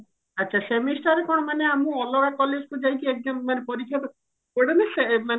ଆଛା semester ରେ କଣ ମାନେ ଆମକୁ ଅଲଗା college କୁ ଯାଇକି exam ମାନେ ପରୀକ୍ଷା ପଡେ ନା ମାନେ